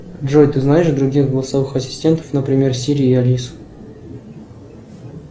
джой ты знаешь других голосовых ассистентов например сири и алису